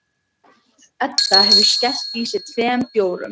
Edda hefur skellt í sig tveim bjórum.